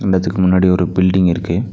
இந்த எட்த்துக்கு முன்னாடி ஒரு பில்டிங் இருக்கு.